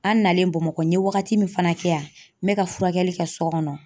An nalen Bamakɔ n ye wagati min fana kɛ yan n bɛ ka furakɛli kɛ so kɔnɔ